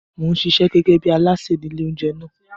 Mò ń ṣiṣẹ́ gẹ́gẹ́ bí alásè ní ilé-oúnjẹ náà.